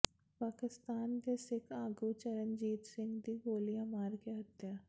ਪਾਕਿਸਤਾਨ ਦੇ ਸਿੱਖ ਆਗੂ ਚਰਨਜੀਤ ਸਿੰਘ ਦੀ ਗੋਲੀਆਂ ਮਾਰ ਕੇ ਹੱਤਿਆ